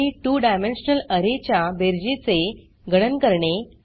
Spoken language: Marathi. आणि 2डायमेन्शनल अरे च्या बेरजेचे गणन करणे